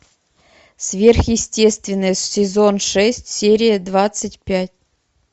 сверхъестественное сезон шесть серия двадцать пять